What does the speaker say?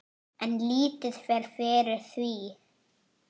En lítið fer fyrir því.